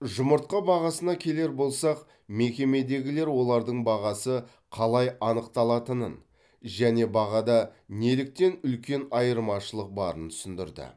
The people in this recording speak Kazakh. жұмыртқа бағасына келер болсақ мекемедегілер олардың бағасы қалай анықталатынын және бағада неліктен үлкен айырмашылық барын түсіндірді